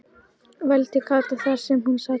vældi Kata þar sem hún sat föst.